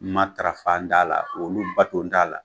Matarafan t'a la olu baton t'a la